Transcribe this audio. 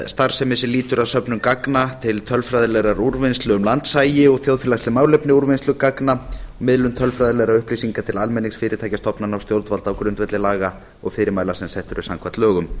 starfsemi sem lýtur að söfnun gagna til tölfræðilegrar úrvinnslu um landshagi og þjóðfélagsleg málefni úrvinnslu gagna og miðlun tölfræðilegra upplýsinga til almennings fyrirtækja stofnana og stjórnvalda á grundvelli laga og fyrirmæla sem eru sett samkvæmt lögum